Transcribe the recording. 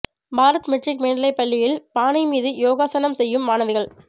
Bharat matric மேல்நிலைப்பள்ளியில் பானை மீது யோகாசனம் செய்யும் மாணவிகள்